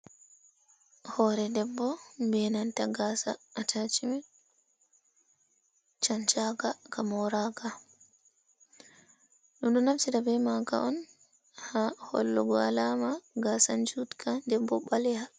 Hoore debbo, benanta gaasa ataacmen, cancaaka, ka mooraaka, ɗum ɗo naftira be maaka on, haa hollugo alaama, gaasa juutka, nden bo ɓaleha.